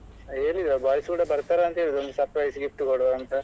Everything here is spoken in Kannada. ಹೇಳಿಲ್ಲ boys ಕೂಡ ಬರ್ತಾರೆ ಅಂತ ಒಂದು surprise gift ಕೊಡುವ ಅಂತ.